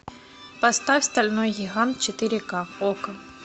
поставь стальной гигант четыре к окко